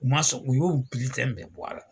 U ma sɔn u y'o biletɛn bɛɛ bɔ a la.